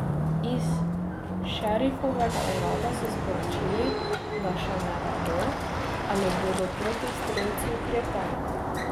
Iz šerifovega urada so sporočili, da še ne vedo, ali bodo proti strelcu ukrepali.